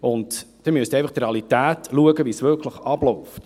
Sie müssen einfach die Realität sehen und wie es wirklich abläuft.